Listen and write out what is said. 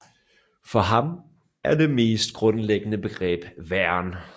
For ham er det mest grundlæggende begreb væren